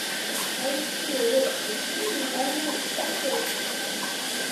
найти лучший фильм в жанре путешествия